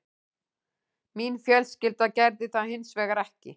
Mín fjölskylda gerði það hins vegar ekki